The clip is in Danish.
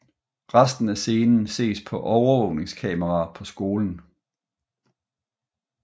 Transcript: Resten af scenen ses på overvågningskameraer på skolen